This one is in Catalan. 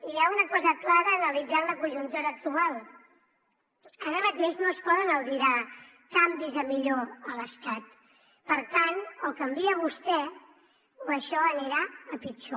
hi ha una cosa clara analitzant la conjuntura actual ara mateix no es poden albirar canvis a millor a l’estat per tant o canvia vostè o això anirà a pitjor